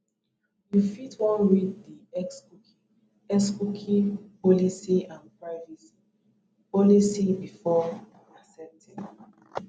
you fit wan read di xcookie xcookie policy and privacy policy before accepting